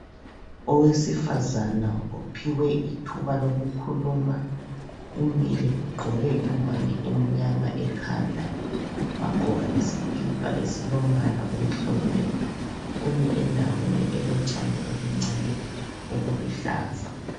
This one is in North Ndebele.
Owesifazana ophiwe ithuba lokukhuluma; umile ugqoke ingowane emnyama ekhanda ;wagqoka isikipa esilombala omhlophe. Umi endaweni elotshani obuncane obuluhlaza